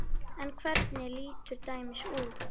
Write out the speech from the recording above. En hvernig lítur dæmið út?